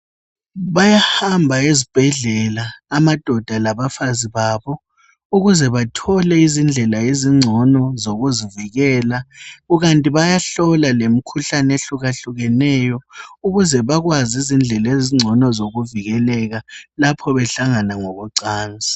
Bayahamba ezibhedlela amadoda labafazi babo ukuze bathole izindlela ezingcono zokuzivikela kukanti bayahlola lemikhuhlane ehluka hlukaneyo ukuze bakwazi izindlela ezingcono zokuzivikela lapho behlangana ngokwe cansi.